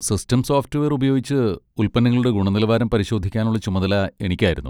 System software ഉപയോഗിച്ച് ഉൽപ്പന്നങ്ങളുടെ ഗുണനിലവാരം പരിശോധിക്കാനുള്ള ചുമതല എനിക്കായിരുന്നു.